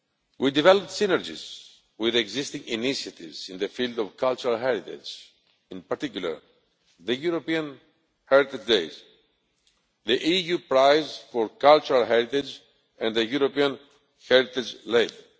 We have developed synergies with existing initiatives in the field of cultural heritage, in particular the European heritage days, the EU prize for cultural heritage and the European heritage label.